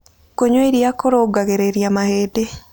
Kũnyua ĩrĩa kũrũngagĩrĩrĩa mahĩndĩ